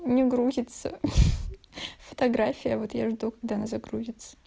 не грузится фотография вот я жду когда она загрузится